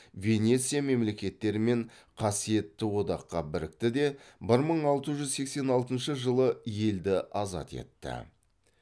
венеция мемлекеттерімен қасиетті одаққа бірікті де бір мың алты жүз сексен алтыншы жылы елді азат етті